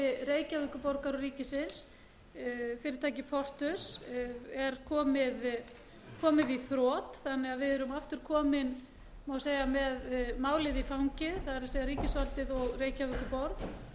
reykjavíkurborgar og ríkisins fyrirtækið portus er komið í þrot þannig að við erum aftur komin má segja með málið í fangið það er ríkisvaldið og reykjavíkurborg